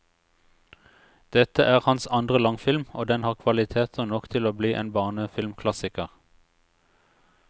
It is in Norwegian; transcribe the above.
Dette er hans andre langfilm, og den har kvaliteter nok til å bli en barnefilmklassiker.